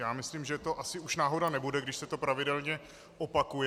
Já myslím, že to asi už náhoda nebude, když se to pravidelně opakuje.